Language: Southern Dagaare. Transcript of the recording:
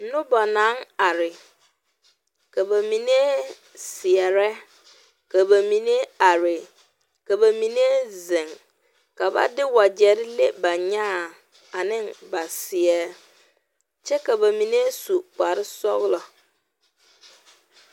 Noba naŋ are, ka ba mine seɛre., ka ba mine are ka ba mine zeŋ, ka ba de wagyɛre leŋ ba nyaaŋ ane ba seɛ kyɛ ka ba mine su kpare sɔglɔ